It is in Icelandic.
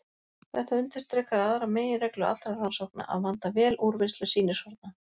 Þetta undirstrikar aðra meginreglu allra rannsókna: að vanda vel úrvinnslu sýnishorna.